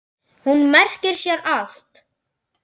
Hún merkir sér allt.